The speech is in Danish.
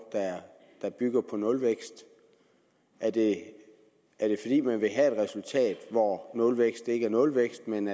der bygger på nulvækst er det fordi man vil have et resultat hvor nulvækst ikke er nulvækst men